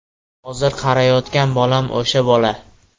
Hozir qarayotgan bolam o‘sha bola.